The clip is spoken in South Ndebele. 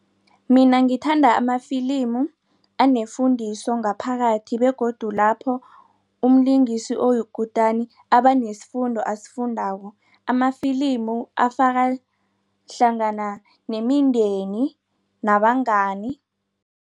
Mina ngithanda amafilimu anefundiso ngaphakathi begodu lapho umlingisi oyikutani abanesifundo asifundako amafilimu afakahlangana nemindeni nabangani.